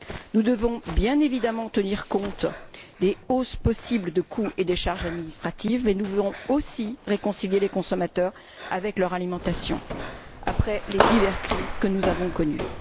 Nous devons bien évidemment tenir compte de la hausse possible des coûts et des charges administratives, mais aussi réconcilier les consommateurs avec leur alimentation, après les diverses crises que nous avons connues.